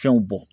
Fɛnw bɔn